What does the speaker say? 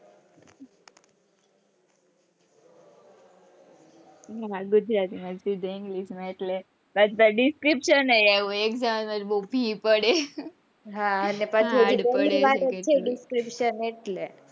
હા ગુજરાતી માંથી english માં એટલે ત્યાં description હોય ને એક જણા ને ઉંધી પડે hard પડે અને પાછું એટલે,